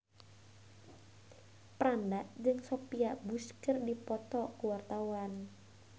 Franda jeung Sophia Bush keur dipoto ku wartawan